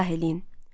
İzah eləyin.